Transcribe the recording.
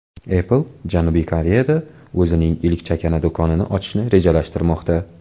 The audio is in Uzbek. Apple Janubiy Koreyada o‘zining ilk chakana do‘konini ochishni rejalashtirmoqda .